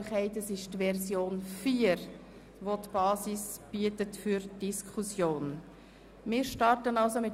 Wenn es etwas ruhiger ist, gebe ich Grossrat Fischer das Wort.